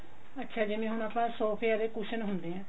ਅੱਛਾ ਜਿਵੇਂ ਹੁਣ ਆਪਾਂ ਸੋਫਿਆਂ ਦੇ cushion ਹੁੰਦੇ ਆ